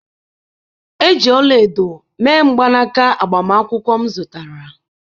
Eji ọla edo mee mgbanaka agbamakwụkwọ m zụtara